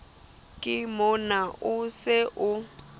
ke mona o se o